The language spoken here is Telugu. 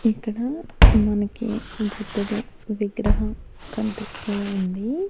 ఇక్కడ మనకి బుద్ధుడి విగ్రహం కనిపిస్తూ ఉంది.